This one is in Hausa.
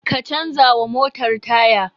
Ka canza wa motar taya!